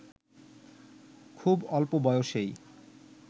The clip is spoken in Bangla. খুব অল্প বয়সেই